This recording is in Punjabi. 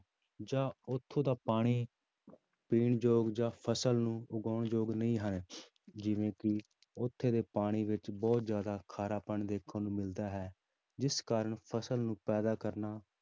ਜਾਂ ਉੱਥੋਂ ਦਾ ਪਾਣੀ ਪੀਣ ਯੋਗ ਜਾਂ ਫ਼ਸਲ ਨੂੰ ਉਗਾਉਣ ਯੋਗ ਨਹੀਂ ਹੈ ਜਿਵੇਂ ਕਿ ਉੱਥੇ ਦੇ ਪਾਣੀ ਵਿੱਚ ਬਹੁਤ ਜ਼ਿਆਦਾ ਖਾਰਾ ਪਣ ਦੇਖਣ ਨੂੰ ਮਿਲਦਾ ਹੈ, ਜਿਸ ਕਾਰਨ ਫ਼ਸਲ ਨੂੰ ਪੈਦਾ ਕਰਨਾ